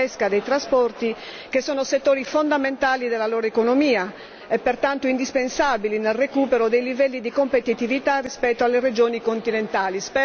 della pesca, dei trasporti, che sono settori fondamentali della loro economia e pertanto indispensabili nel recupero dei livelli di competitività rispetto alle regioni continentali.